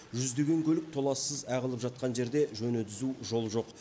жүздеген көлік толассыз ағылып жатқан жерде жөні түзу жол жоқ